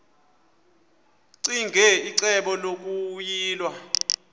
ccinge icebo lokuyilwa